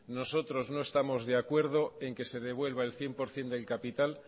nosotros no estamos de acuerdo en que se devuelva el cien por ciento del capital